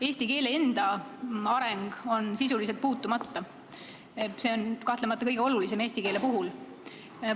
Eesti keele enda areng on sisuliselt puudutamata, aga see on kahtlemata kõige olulisem eesti keele puhul.